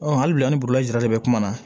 hali bi an ni burulazara de bɛ kuma na